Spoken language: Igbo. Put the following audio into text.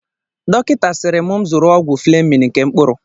Dọkịta siiri m zụrụ ọgwụ Flemin nke mkpụrụ.